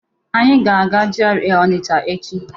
Anyị ga-aga GRA Ọnịcha echi.